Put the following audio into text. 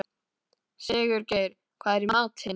Sigurgeir, hvað er í matinn?